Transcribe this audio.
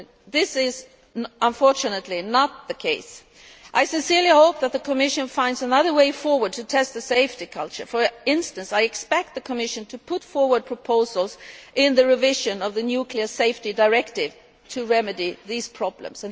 This is unfortunately not the case. I sincerely hope that the Commission finds another way forward to test the safety culture. For instance, I expect the Commission to put forward proposals as part of the revision of the nuclear safety directive to remedy these problems.